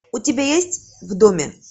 у тебя есть в доме